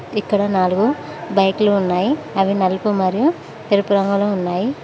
ఇక్కడ నాలుగు బైకులు ఉన్నాయి అవి నలుపు మరియు తెలుపు రంగులో ఉన్నాయి.